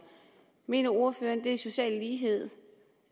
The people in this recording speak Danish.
mener ordføreren at det er social lighed